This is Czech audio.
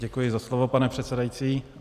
Děkuji za slovo, pane předsedající.